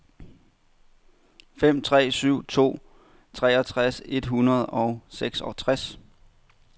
fem tre syv to treogtres et hundrede og seksogtres